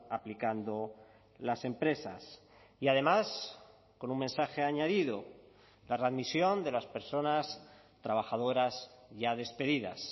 aplicando las empresas y además con un mensaje añadido la readmisión de las personas trabajadoras ya despedidas